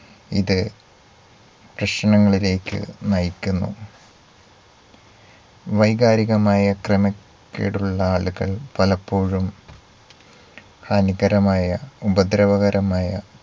ഇത് പ്രശ്നങ്ങളിലേക്ക് നയിക്കുന്നു. വൈകാരികമായ ക്രമക്കേടുള്ള ആളുകൾ പലപ്പോഴും അനുകരമായ ഉപദ്രവകരമായ